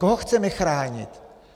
Koho chceme chránit?